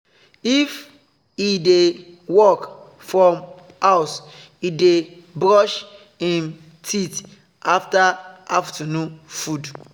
if he dey work from house he dey brush him teeth after afternoon food